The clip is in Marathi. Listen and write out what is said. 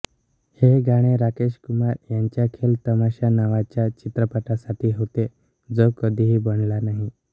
हे गाणे राकेश कुमार यांच्या खेल तमाशा नावाच्या चित्रपटासाठी होते जो कधीही बनला नाही